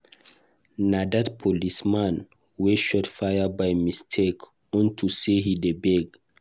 Na dat policeman wey fire shot by mistake unto say he dey beg